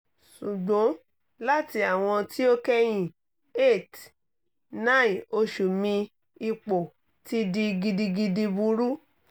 sugbon lati awọn ti o kẹhin eight - nine osu mi ipo ti di gidigidi buru